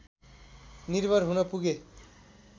निर्भर हुन पुगे